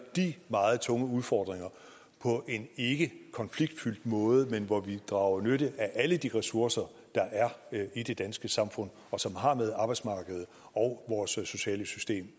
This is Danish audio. de meget store udfordringer på en ikke konfliktfyldt måde men hvor vi drager nytte af alle de ressourcer der er i det danske samfund og som har med arbejdsmarkedet og vores sociale system